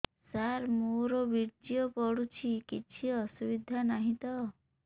ସାର ମୋର ବୀର୍ଯ୍ୟ ପଡୁଛି କିଛି ଅସୁବିଧା ନାହିଁ ତ